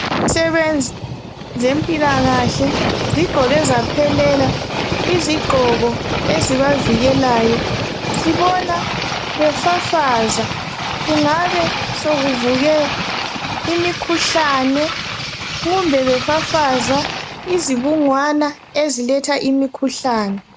Izisebenzi zempilakahle zigqoke zaphelela izigqoko ezibavikelayo. Sibona befafaza kungabe sokuvuke imikhuhlane kumbe befafaza izibungwana eziletha imikhuhlane.